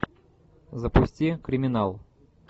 запусти криминал